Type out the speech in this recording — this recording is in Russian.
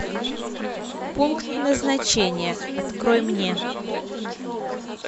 пункт назначения открой мне